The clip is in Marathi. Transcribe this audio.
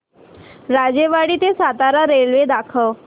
राजेवाडी ते सातारा रेल्वे दाखव